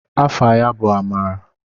Afa ya bụ Amara.